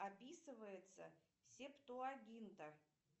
описывается септуагинта